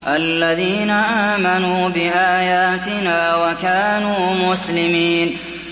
الَّذِينَ آمَنُوا بِآيَاتِنَا وَكَانُوا مُسْلِمِينَ